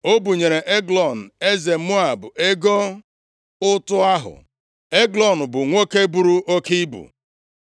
O bunyere Eglọn, eze Moab ego ụtụ ahụ. Eglọn bụ nwoke buru oke ibu.